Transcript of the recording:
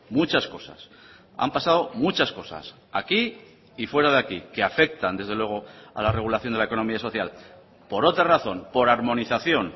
muchas cosas han pasado muchas cosas aquí y fuera de aquí que afectan desde luego a la regulación de la economía social por otra razón por armonización